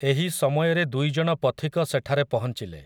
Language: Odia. ଏହି ସମୟରେ ଦୁଇଜଣ ପଥିକ ସେଠାରେ ପହଞ୍ଚିଲେ ।